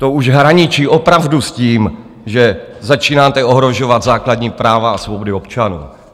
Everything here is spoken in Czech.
To už hraničí opravdu s tím, že začínáte ohrožovat základní práva a svobody občanů.